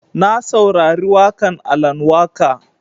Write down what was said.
Na saurari waƙan Alan Waƙa